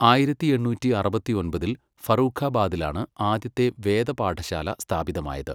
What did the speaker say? ആയിരത്തി എണ്ണൂറ്റി അറുപത്തിയൊമ്പതിൽ ഫറൂഖാബാദിലാണ് ആദ്യത്തെ വേദപാഠശാല സ്ഥാപിതമായത്.